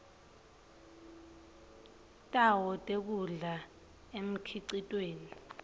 tawo tekudla emkhicitweni